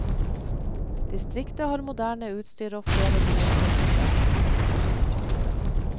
Distriktet har moderne utstyr og flere nye klinikker.